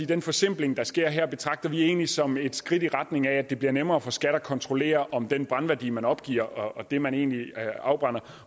den forsimpling der sker her betragter vi egentlig som et skridt i retning af at det bliver nemmere for skat at kontrollere om den brændværdi man opgiver og det man egentlig afbrænder